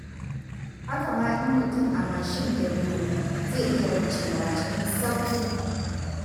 Haka ma in mutum a mashin ya biyo, zai iya wucewa cikin sauƙi.